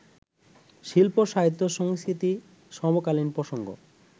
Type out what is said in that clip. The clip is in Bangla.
শিল্প-সাহিত্য-সংস্কৃতি-সমকালীন প্রসঙ্গ